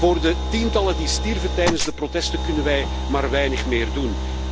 Voor de tientallen die stierven tijdens de protesten kunnen wij nog maar weinig doen.